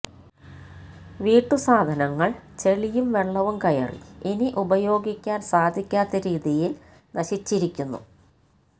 വീട്ടുസാധനങ്ങൾ ചെളിയും വെള്ളവും കയറി ഇനി ഉപയോഗിക്കാൻ സാധിക്കാത്ത രീതിയിൽ നശിച്ചിരിക്കുന്നു